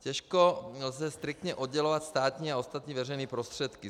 Těžko lze striktně oddělovat státní a ostatní veřejné prostředky.